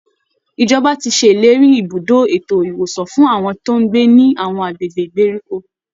Ìjọba ti ṣèlérí ibùdó ètò ìwòsàn fún àwọn tó ń gbé ní àwọn agbègbè ìgbèríko